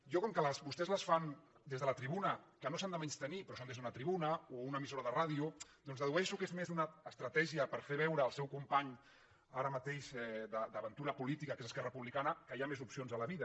jo com que vostès les fan des de la tribuna que no s’han de menystenir però es fan des d’una tribuna o una emissora de ràdio doncs dedueixo que és més una estratègia per fer veure al seu company ara mateix d’aventura política que és esquerra republicana que hi ha més opcions a la vida